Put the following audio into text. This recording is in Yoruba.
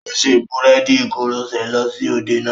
Ó ṣe búréèdì koroṣé lọ sí òde náà.